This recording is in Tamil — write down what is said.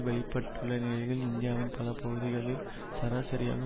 வெட்டப்பட்டுள்ள நிலைகளில் இந்தியாவின் பல பகுதிகளில் சராசரியாக